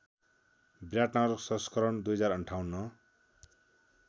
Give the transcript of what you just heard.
विराटनगर संस्करण २०५८